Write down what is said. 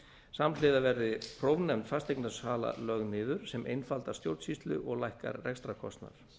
samhliða verði prófnefnd fasteignasala lögð niður sem einfaldar stjórnsýslu og lækkar rekstrarkostnað